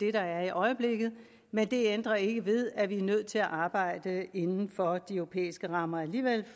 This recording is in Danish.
er i øjeblikket men det ændrer ikke ved at vi er nødt til at arbejde inden for de europæiske rammer alligevel